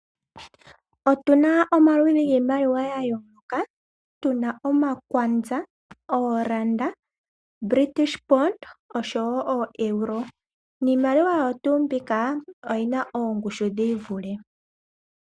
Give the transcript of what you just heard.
Otuna omaludhi giimaliwa ya yooloka, tu na omakwanza, ooranda, British pond oshowo ooeuro. Niimaliwa oyo tuu mbika oyi na oongushu dhi ivule.